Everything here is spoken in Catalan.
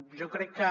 jo crec que